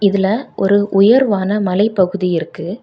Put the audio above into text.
இதுல ஒரு உயர்வான மலைப்பகுதி இருக்கு.